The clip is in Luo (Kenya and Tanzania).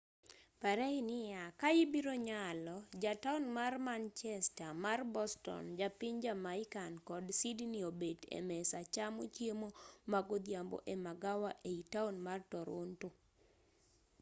pare niya ka ibiro nyalo ja taon mar manchester mar boston ja piny jamaican kod sydney obet e mesa chamo chiemo ma godhiambo e magawa ei taon mar toronto